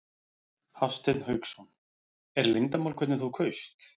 Hafsteinn Hauksson: Er leyndarmál hvernig þú kaust?